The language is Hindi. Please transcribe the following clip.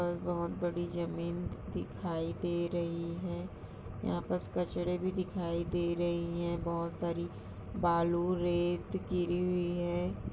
बहुत बड़ी जमीन दिखाई दे रही है यहाँ पास कचरा भी दिखाई दे रही है बहुत सारी बालू रेत गिरी हुई है।